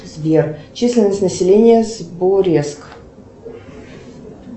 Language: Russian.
сбер численность населения сбуреск